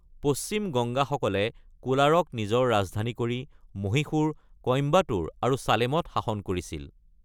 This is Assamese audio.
পশ্চিম গংগাসকলে কোলাৰক নিজৰ ৰাজধানী কৰি মহীশূৰ, কইম্বাটুৰ আৰু চালেমত শাসন কৰিছিল।